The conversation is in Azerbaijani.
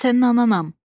Mən sənin ananam.